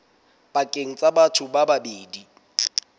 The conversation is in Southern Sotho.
pakeng tsa batho ba babedi